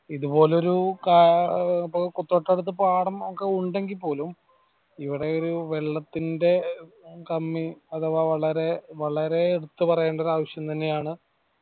ഇത് പോലൊരു തൊട്ടടുത്ത് പാടം ഒക്കെ ഉണ്ടെങ്കിൽ പോലും ഇവിടെ ഒരു വെള്ളത്തിന്റെ കമ്മി അഥവാ വളരെ വളരെ എടുത്ത് പറയണ്ട ഒരു ആവിശ്യം തന്നെയാണ്